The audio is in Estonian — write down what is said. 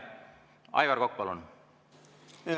Aivar Kokk, palun!